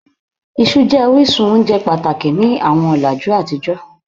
iṣu jẹ orisun ounje pataki ni awọn ọlaju atijọ